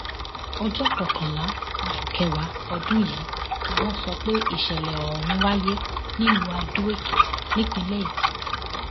ọjọ kọkànlá oṣù kẹwàá ọdún yìí ni wọn sọ pé ìsẹlẹ ọhún wáyé nílùú adoekìtì nípínlẹ èkìtì